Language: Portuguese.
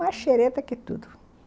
Mais xereta que tudo.